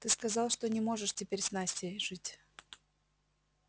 ты сказал что не можешь теперь с настей жить